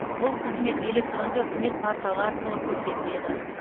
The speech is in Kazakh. бұл қызмет электронды үкімет порталы арқылы көрсетіледі